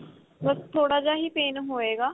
ਬੱਸ ਥੋੜਾ ਜਾ ਹੀ pain ਹੋਏਗਾ